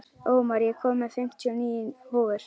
Ómar, ég kom með fimmtíu og níu húfur!